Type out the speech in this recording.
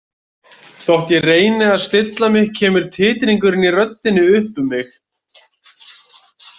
Þótt ég reyni að stilla mig kemur titringurinn í röddinni upp um mig.